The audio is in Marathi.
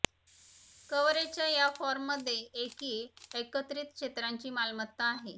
कव्हरेजच्या या फॉर्ममध्ये एकी एकत्रित क्षेत्रांची मालमत्ता आहे